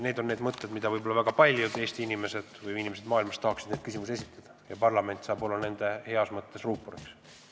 Tegu on küsimusega, mida võib-olla väga paljud Eesti inimesed või inimesed mujalt maailmast tahaksid esitada ja parlament saab olla nende heas mõttes ruuporiks.